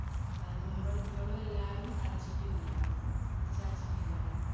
അതിന് മുൻപ് എടുത്തോള് എല്ലാരും അടച്ചിട്ടില്ല. തിരിച്ചടച്ചിട്ടില്ല.